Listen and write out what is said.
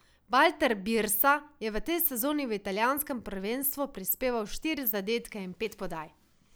Valter Birsa je v tej sezoni v italijanskem prvenstvu prispeval štiri zadetke in pet podaj.